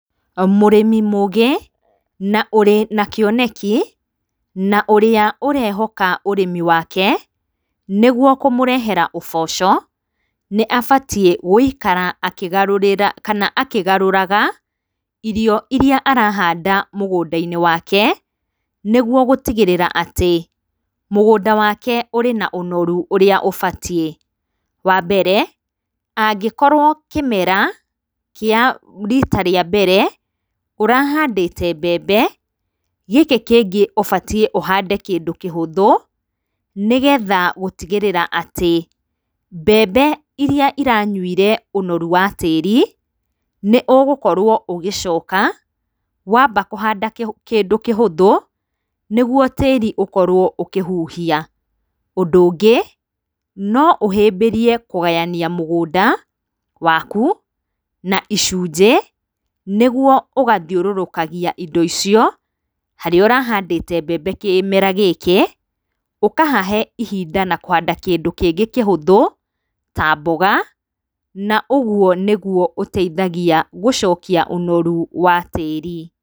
Mũrĩmi mũgĩ na ũrĩ na kĩoneki na ũrĩa ũrehoka ũrĩmi wake nĩguo kũmũrehere ũboco nĩabatie gũikara akĩgarũrĩra kana akĩgarũraga irio iria arahanda mũgũndainĩ wake nĩguo gũtigĩrĩra atĩ mũgũnga wake ũrĩ na ũnoru ũrĩa ũbatie, wambere angĩkorwo kĩmera kĩa rita rĩa mbere ũrahandĩte mbembe, gĩkĩ kĩngĩ ũbatie ũhande kĩndũ kĩhũthũ nĩgetha gũtigĩrĩra atĩ mbembe iria iranyuire ũnoru wa tĩri nĩũgũkorwo ũgĩcoka wamba kũhanda kĩndũ kĩhũthũ nĩguo tĩri ũkorwo ũkĩhuhia, ũndũ ũngĩ noũhĩbĩrie kũgayania mũgũnda waku na icujĩ nĩguo ũgathiũrũrũka indo icio harĩa ũrahandĩte mbembe kĩmera gĩkĩ ũkahahe ihinda na kũhanda kĩndũ kĩngĩ kĩhũthũ ta mboga na ũgio nĩgũo ũteithagia gũcokia ũnoru wa tĩri.